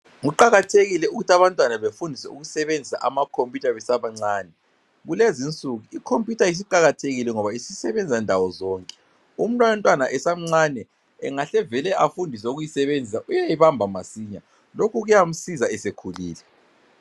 Kuqakathekile ukuthi abantwana befundiswe ukusebenzisa amakhompiyutha besabancane. Kulezinsuku ikhompiyutha isiqakathekile ngoba isisebenza ndawo zonke uma umntwana esamncane engahle vele afundiswe ukuyisebenzisa uyayibamba masinya. Lokhu kuyamsiza esekhulile.